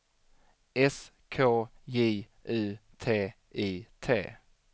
S K J U T I T